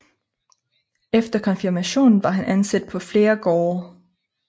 Efter konfirmationen var han ansat på flere gårde